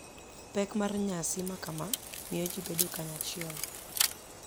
Pek mar nyasi makama miyo ji bedo kanyachiel,